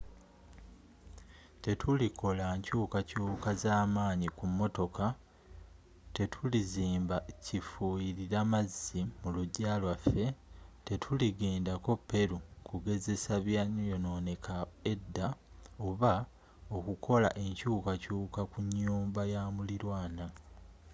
tetulikola nkyukakyuka zamanyi ku motoka tetulizimba kifuyirira mazzi mulujja lwaffe tetuligenda ko peru kugezesa byayononebwa edda oba okukola enkyukakyuka ku nyumba yamulirwaana